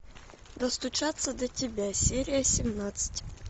достучаться до тебя серия семнадцать